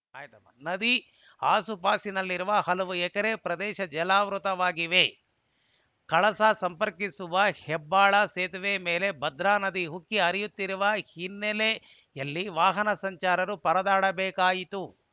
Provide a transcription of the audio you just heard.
ನದಿ ಆಸುಪಾಸಿನಲ್ಲಿರುವ ಹಲವು ಎಕರೆ ಪ್ರದೇಶ ಜಲಾವೃತವಾಗಿವೆ ಕಳಸಾ ಸಂಪರ್ಕಿಸುವ ಹೆಬ್ಬಾಳೆ ಸೇತುವೆ ಮೇಲೆ ಭದ್ರಾ ನದಿ ಉಕ್ಕಿ ಹರಿಯುತ್ತಿರುವ ಹಿನ್ನೆಲೆಯಲ್ಲಿ ವಾಹನ ಸಂಚಾರರರು ಪರದಾಡಬೇಕಾಯಿತು